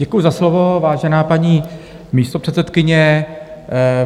Děkuji za slovo, vážená paní místopředsedkyně.